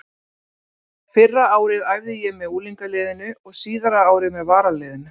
Fyrra árið æfði ég með unglingaliðinu og síðara árið með varaliðinu.